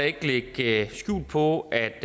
ikke lægge skjul på at